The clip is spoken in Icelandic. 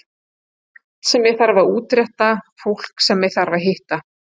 Margt sem ég þarf að útrétta, fólk sem ég þarf að hitta.